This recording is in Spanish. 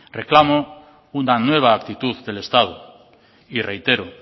reclamo una nueva actitud del estado y reitero